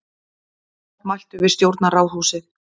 Mótmæltu við stjórnarráðshúsið